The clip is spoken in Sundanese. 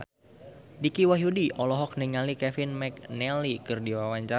Dicky Wahyudi olohok ningali Kevin McNally keur diwawancara